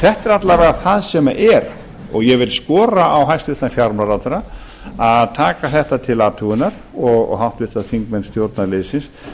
þetta er alla vega það sem er og ég vil skora á hæstvirtan fjármálaráðherra að taka þetta til athugunar og háttvirtir þingmenn stjórnarliðsins